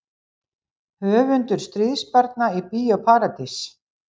Höfundur Stríðsbarna í Bíó Paradís